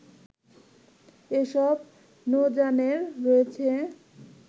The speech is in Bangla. এসব নৌযানে রয়েছে